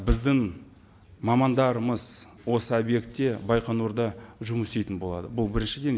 біздің мамандарымыз осы объектте байқоңырда жұмыс істейтін болады бұл біріншіден